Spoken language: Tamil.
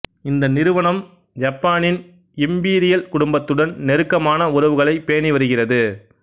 இந்த நிறுவனம் யப்பானின் இம்பீரியல் குடும்பத்துடன் நெருக்கமான உறவுகளைப் பேணி வருகிறது